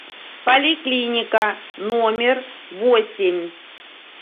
поликлиника номер восемь